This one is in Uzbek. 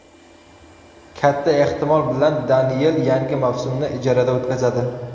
Katta ehtimol bilan Deniyel yangi mavsumni ijarada o‘tkazadi.